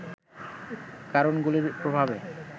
কারণগুলির প্রভাবের